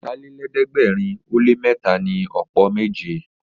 Ọ̀tàlélẹ̀ẹ́dẹ́gbẹ̀rin ó lé mẹ́ta ni ọ̀pọ̀ méje